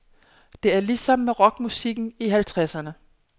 Det er ligesom med rockmusikken i halvtredserne.